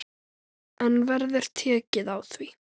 En verður tekið á því?